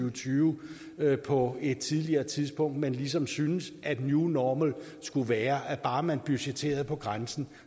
og tyve på et tidligere tidspunkt men ligesom syntes at new normal skulle være at bare man budgetterede på grænsen